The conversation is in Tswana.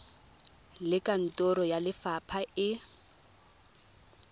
le kantoro ya lefapha e